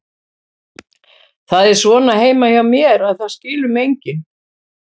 Það er svona heima hjá mér, að það skilur mig enginn.